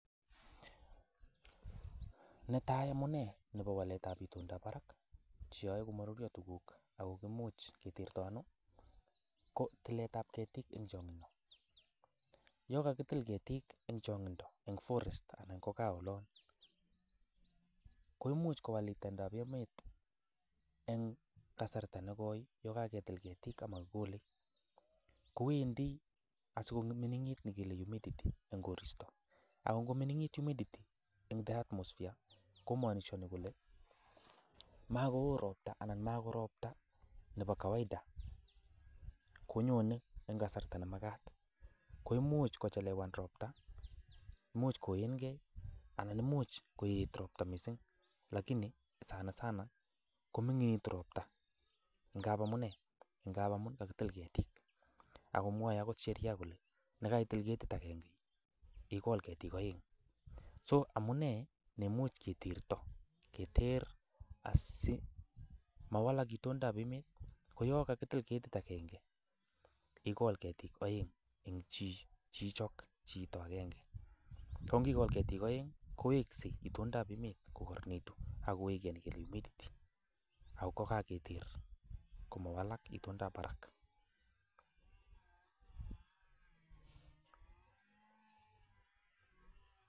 Netai amune nebo waletab itondab barak che yoe komaruria tuguk ak imuch ketertanu ko tiletab ketik eng chongindo. Yo kagitil ketik eng chongindo eng forest anan ko kaa olon, koimuch kowal itondab emet eng kasarta negoi yo kaketil ketik ama kigole. Kowendi asigominingit negile humidity eng koristo. Ak ngominginit humidity eng the atmosphere ko manishani kole, magoo ropta anan magoropta nebo kawaida konyone eng kasarta ne magat. Komuch kochelewan ropta, imuch koen kei anan imuch koet ropta mising lakini sanasana kominginitu ropta, ngab amune ? Ngab kakitil ketik. Agomwae agot sheria kole, ndakaitil ketit agenge, igol letik aeng. So amune nemuch kiterto keter asimawalak itondab emet, ko yon kakitil ketit agenge igol ketik oeng chi, chichok, chito agenge. Ko ngigol ketik oeng koweksei itondab emet kogaroronitu ak koweg humidity ak kogageter komawalak itondab barak.